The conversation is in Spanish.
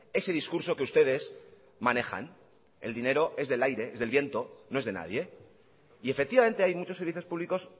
ese discurso que ustedes manejan el dinero es del aire es del viento no es de nadie y efectivamente hay muchos servicios públicos